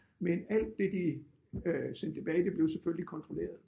Men alt det de øh sendte tilbage det blev selvfølgelig kontrolleret